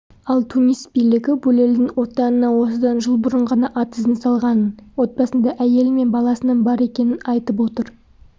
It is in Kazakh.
ал тунис билігі булельдің отанына осыдан жыл бұрын ғана ат ізін салғанын отбасында әйелі мен баласының бар екенін айтып отыр